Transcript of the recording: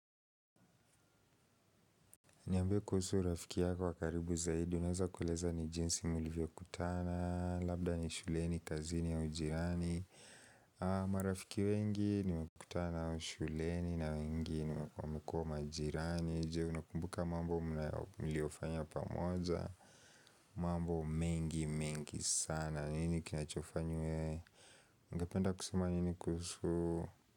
Niambe kuhusu rafiki yako wa karibu zaidi, unaweza kueleza ni jinsi mlivyokutana, labda ni shuleni, kazini au ujirani marafiki wengi nimekutana nao shuleni na wengi nimekuwa majirani, jeo unakumbuka mambo miliofanya pamoza mambo mengi mengi sana, nini kinachofanywa ungependa kusuma nini kuhusu.